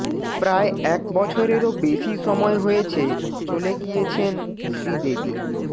প্রায় এক বছরেরও বেশি সময় হয়েছে চলে গিয়েছেন শ্রীদেবী